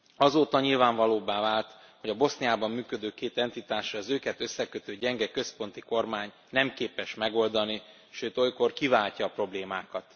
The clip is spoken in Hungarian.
Azóta nyilvánvalóvá vált, hogy a Boszniában működő két entitás, az őket összekötő gyenge központi kormány nem képes megoldani, sőt olykor kiváltja a problémákat.